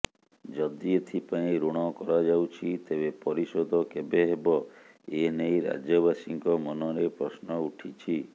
ଯଦି ଏଥିପାଇଁ ଋଣ କରାଯାଉଛି ତେବେ ପରିଶୋଧ କେବେ ହେବ ଏନେଇ ରାଜ୍ୟବାସୀଙ୍କ ମନରେ ପ୍ରଶ୍ନ ଉଠିଛି